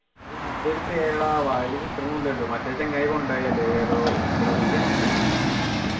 ഓ എന്തൊരു പേരെഡാ വായിലെ കിട്ടുണുല്ലല്ലോ മറ്റേ ചങ്ങായി കൊണ്ടോയി അല്ലെ ഏതോ ഇവിടെ കൊണ്ടിട്ടിട്ട്